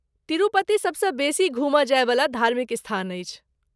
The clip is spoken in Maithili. तिरुपति सबसँ बेसी घूमल जायवला धार्मिक स्थान अछि?